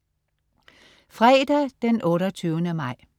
Fredag den 28. maj